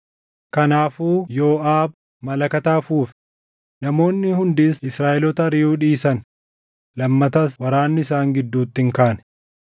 Kanaafuu Yooʼaab malakata afuufe; namoonni hundis Israaʼeloota ariʼuu dhiisan; lammatas waraanni isaan gidduutti hin kaane.